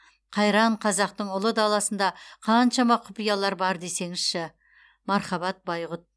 қайран қазақтың ұлы даласында қаншама құпиялар бар десеңізші мархабат байғұт